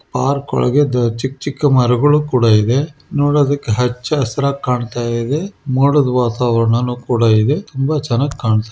Park ಒಳಗೆ ಚಿಕ್ ಚಿಕ್ಕ ಮರಗಳು ಕೂಡ ಇದೆ ನೋಡೋದಕ್ಕೆ ಹಚ್ಚ ಹಸರಾಗ್ ಕಾಣ್ತಾ ಇದೆ. ಮೋಡದ್ ವಾತಾವರಣನು ಕೂಡ ಇದೆ ತುಂಬ ಚೆನ್ನಾಗ್ ಕಾಣ್ತಾ ಇದೆ.